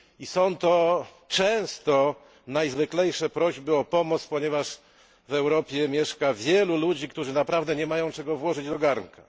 Są to często najzwyklejsze prośby o pomoc, ponieważ w Europie mieszka wielu ludzi, którzy naprawdę nie mają czego włożyć do garnka.